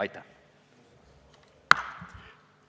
Aitäh!